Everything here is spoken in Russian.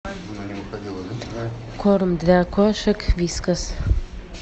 корм для кошек вискас